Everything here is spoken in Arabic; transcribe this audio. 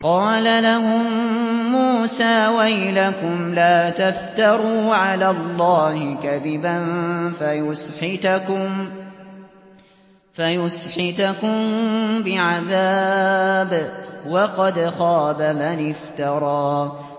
قَالَ لَهُم مُّوسَىٰ وَيْلَكُمْ لَا تَفْتَرُوا عَلَى اللَّهِ كَذِبًا فَيُسْحِتَكُم بِعَذَابٍ ۖ وَقَدْ خَابَ مَنِ افْتَرَىٰ